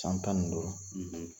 San tan ni